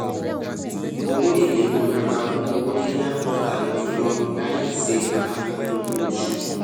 owo ele ko dara fun owo yiya pataki julo laìse afikun owo osu